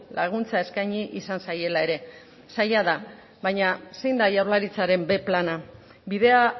laguntza eskaini izan zaiela ere zaila da baina zein da jaurlaritzaren b plana bidea